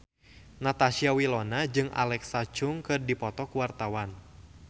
Natasha Wilona jeung Alexa Chung keur dipoto ku wartawan